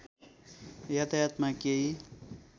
यातायातमा केही